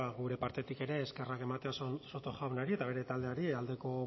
gure partetik ere eskerrak ematea soto jaunari eta bere taldeari aldeko